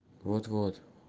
вот-вот